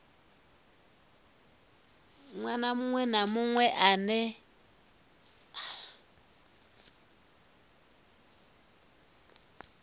ṅwana muṅwe na muṅwe ane